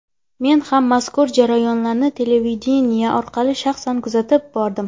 Men ham mazkur jarayonlarni televideniye orqali shaxsan kuzatib bordim.